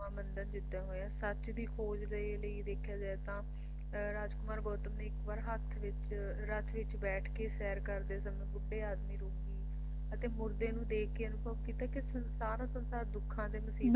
ਨਵਾਂ ਬੰਧਨ ਜਿਦਾਂ ਹੋਇਆ ਸੱਚ ਦੀ ਖੋਜ ਦੇ ਲਈ ਦੇਖਿਆ ਜਾਏ ਤਾਂ ਰਾਜਕੁਮਾਰ ਗੌਤਮ ਨੇ ਇੱਕ ਵਾਰ ਹੱਥ ਵਿੱਚ ਰੱਥ ਵਿੱਚ ਬੈਠ ਕੇ ਸੈਰ ਕਰਦੇ ਸਮੇਂ ਬੁੱਢੇ ਆਦਮੀ ਰੂਪ ਨੂੰ ਅਤੇ ਮੁਰਦੇ ਨੂੰ ਦੇਖਕੇ ਅਨੁਭਵ ਕੀਤਾ ਕੇ ਸਾਰਾ ਸੰਸਾਰ ਦੁੱਖਾਂ ਤੇ ਮੁਸੀਬਤਾਂ